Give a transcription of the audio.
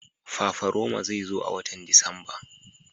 Fafaroma zai zo a watan Disamba.